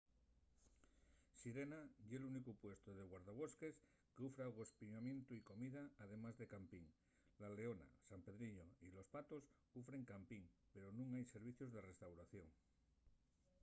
sirena ye’l únicu puestu de guardabosques qu’ufre agospiamientu y comida además de campin. la leona san pedrillo y los patos ufren campin pero nun hai servicios de restauración